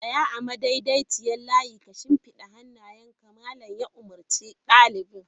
Tsaya a madaidaiciyar layi ka shimfiɗa hannayenka! Malam ya umurci dalibai!